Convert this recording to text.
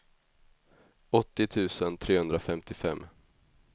åttio tusen trehundrafemtiofem